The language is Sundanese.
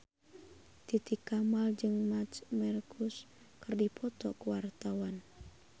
Titi Kamal jeung Marc Marquez keur dipoto ku wartawan